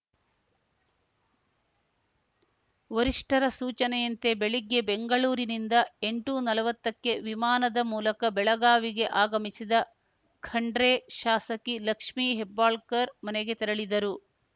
ವರಿಷ್ಠರ ಸೂಚನೆಯಂತೆ ಬೆಳಿಗ್ಗೆ ಬೆಂಗಳೂರಿನಿಂದ ಎಂಟುನಲ್ವತ್ತಕ್ಕೆ ವಿಮಾನದ ಮೂಲಕ ಬೆಳಗಾವಿಗೆ ಆಗಮಿಸಿದ ಖಂಡ್ರೆ ಶಾಸಕಿ ಲಕ್ಷ್ಮಿ ಹೆಬ್ಬಾಳ್ಕರ್‌ ಮನೆಗೆ ತೆರಳಿದರು